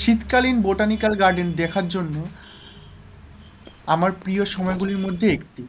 শীতকালীন botanical garden দেখার জন্য আমার প্রিয় সময় গুলির মধ্যে একটি,